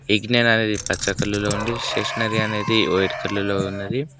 విజ్ఞాన్ అనేది పచ్చ కలర్ లో ఉంది స్టేషనరీ అనేది వైట్ కలర్ లో ఉన్నది.